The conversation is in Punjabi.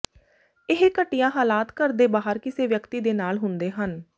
ਇਹ ਘਟੀਆ ਹਾਲਾਤ ਘਰ ਦੇ ਬਾਹਰ ਕਿਸੇ ਵਿਅਕਤੀ ਦੇ ਨਾਲ ਹੁੰਦੇ ਹਨ